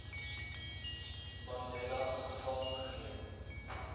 mandela gevange geneem